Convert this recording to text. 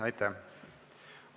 Aitäh!